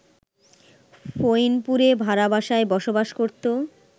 ফইনপুরে ভাড়া বাসায় বসবাস করত